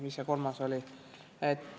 Mis see kolmas oli?